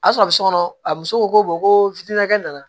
A sɔrɔ a bɛ so kɔnɔ a muso ko ko kɛ nana